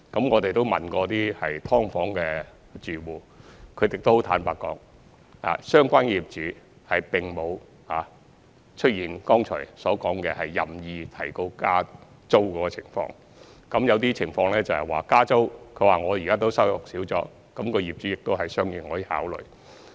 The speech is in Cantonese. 我們問過一些"劏房"住戶，他們都很坦白，指相關的業主並沒有如剛才所說出現任意加租的情況。有些情況是，租戶自己現時的收入少了，業主也會作出相應考慮。